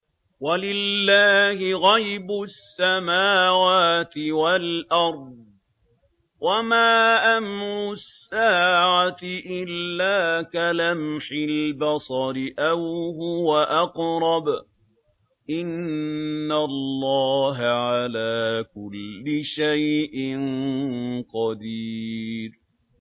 وَلِلَّهِ غَيْبُ السَّمَاوَاتِ وَالْأَرْضِ ۚ وَمَا أَمْرُ السَّاعَةِ إِلَّا كَلَمْحِ الْبَصَرِ أَوْ هُوَ أَقْرَبُ ۚ إِنَّ اللَّهَ عَلَىٰ كُلِّ شَيْءٍ قَدِيرٌ